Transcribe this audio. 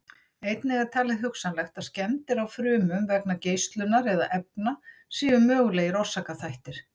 Einnig er talið hugsanlegt að skemmdir á frumum vegna geislunar eða efna séu mögulegir orsakaþættir.